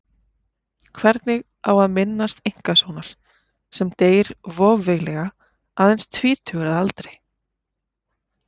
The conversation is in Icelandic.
Hvernig á að minnast einkasonar sem deyr voveiflega aðeins tvítugur að aldri?